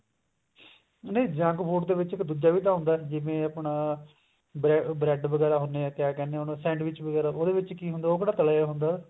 ਨਹੀਂ junk food ਦੇ ਵਿੱਚ ਇੱਕ ਦੂਜਾ ਵੀ ਤਾਂ ਹੁੰਦਾ ਜਿਵੇਂ ਆਪਣਾ bread ਵਗੇਰਾ ਹੁੰਦੇ ਆ ਕਿਆ ਕਹਿਨੇ ਆ ਉਹਨੂੰ sandwich ਉਹਦੇ ਵਿੱਚ ਕੀ ਹੁੰਦਾ ਉਹ ਕਿਹੜਾ ਤਲਿਆ ਹੁੰਦਾ